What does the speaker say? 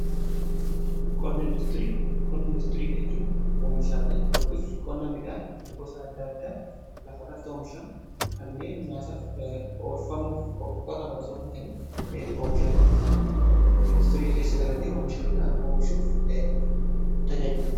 Qonna industirii jechuun oomishaalee yookiin qonna midhaan gosa adda addaa lafarratti oomishamu kanneen nyaataaf oolfamuuf qotaman otoo ta'in oomishaalee midhaanii industirii keessa galani oomisha biraa oomishuuf tajaajilan.